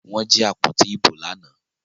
Wọ́n jí àpótí ìbò lánàá